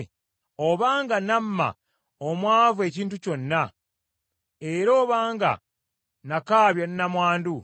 “Obanga nnamma omwavu ekintu kyonna, era obanga nakaabya nnamwandu;